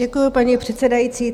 Děkuji, paní předsedající.